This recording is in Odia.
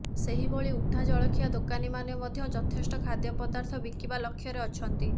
ସେହିଭଳି ଉଠା ଜଳଖିଆ ଦୋକାନୀମାନେ ମଧ୍ୟ ଯଥେଷ୍ଟ ଖାଦ୍ୟ ପଦାର୍ଥ ବିକିବା ଲକ୍ଷ୍ୟରେ ଅଛନ୍ତି